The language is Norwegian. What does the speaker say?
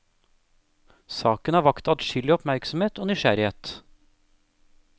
Saken har vakt adskillig oppmerksomhet og nysgjerrighet.